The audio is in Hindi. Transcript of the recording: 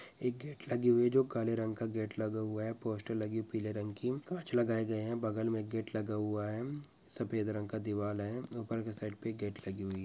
एक गेट लगी हुई जो काले रंग का गेट लगा हुआ है पोस्टर लगी पीले रंग की कांच लगाए गए है बगल में गेट लगा हुआ है। सफेद रंग का दिवाल है ऊपर के साइड पे एक गेट लगी हुई हे।